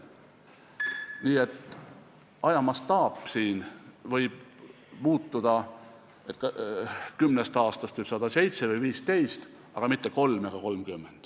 Nii et ajamastaap võib muutuda, kümnest aastast võib saada seitse või viisteist, aga mitte kolm ega kolmkümmend.